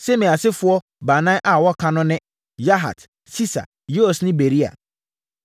Simei asefoɔ baanan a wɔaka no ne: Yahat, Sisa, Yeus ne Beria.